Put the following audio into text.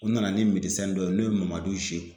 U nana ni dɔ ye n'o ye Mamadu